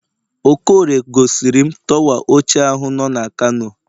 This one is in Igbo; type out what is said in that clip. okorie gosirim torwa ochie ahu nọ na kano